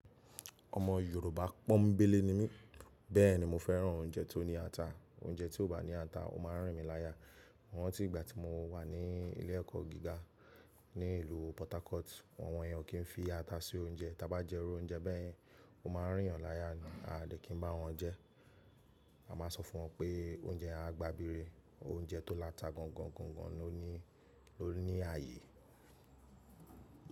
Ọmọ Yorùbá pọ́nbélé ni mí, bẹ́ẹ̀ni mo fẹ́ràn oúnjẹ tó ní ata. Oúnjẹ tí ò bá ní ata, ó máa rìn mí láya. Mọ̀ ran tí ìgbà tí mo wà ní ilé ẹ̀kọ́ gíga ní ìlú Port Harcourt, àwọn iyen o kì í fi ata sí oúnjẹ. Ta bá jẹ irí oúnjẹ bẹ́yen, ó máa rìn yan láya ni. A dẹ̀ kí n bá wọn jẹ́, a máa sọ fún wọn pé oúnjẹ yen a gba bire, oúnjẹ tó láta gọ̀n gọ̀n gọ̀n gọ̀n lo ni ó ní àyè.